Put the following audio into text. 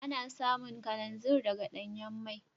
Ana samun kalanzir daga danyan mai.